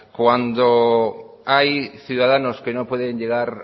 cuando hay ciudadanos que no pueden llegar